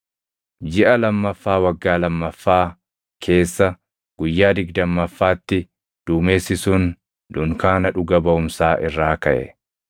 Jiʼa lammaffaa waggaa lammaffaa keessa guyyaa digdammaffaatti duumessi sun dunkaana dhuga Baʼumsaa irraa kaʼe.